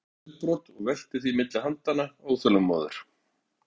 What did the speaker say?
Hann tekur upp glerbrot og veltir því milli handanna, óþolinmóður.